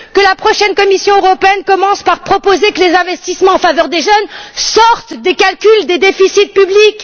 Que la prochaine Commission commence par proposer que les investissements en faveur des jeunes sortent des calculs des déficits publics.